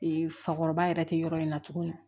fakɔrɔba yɛrɛ tɛ yɔrɔ in na tuguni